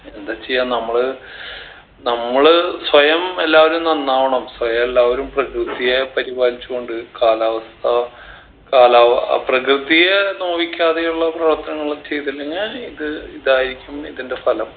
എന്താ ചെയ്യാ നമ്മള് നമ്മള് സ്വയം എല്ലാവരും നന്നാവണം സ്വയം എല്ലാവരും പ്രകൃതിയെ പരിപാലിച്ചു കൊണ്ട് കാലാവസ്ഥാ കാലാ ഏർ പ്രകൃതിയെ നോവിക്കാതെയുള്ള പ്രവർത്തനങ്ങളൊക്കെ ഇതിനങ്ങേ ഇത് ഇതായിരിക്കും ഇതിൻറെ ഫലം